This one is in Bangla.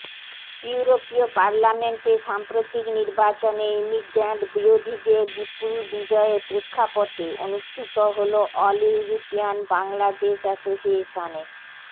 ইউরোপীয় পার্লামেন্টের সাম্প্রতিক নির্বাচনে ইমিগ্র্যান্ট বিরোধীদের বিপুল বিজয়ের প্রেক্ষাপটে অনুষ্ঠিত হলো অল ইউরোপিয়ান বাংলাদেশ অ্যাসোসিয়েশনের